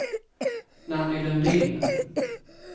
Nanny Lundin